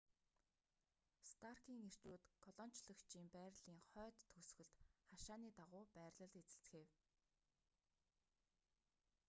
старкийн эрчүүд колончлогчийн байрлалын хойд төгсгөлд хашааны дагуу байрлал эзэлцгээв